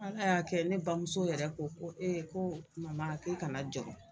Ala y'a kɛ ne bamuso yɛrɛ ko ko ko k'i kana jɔɔrɔ.